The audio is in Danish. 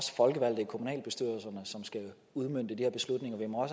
folkevalgte i kommunalbestyrelserne som skal udmønte de her beslutninger vi må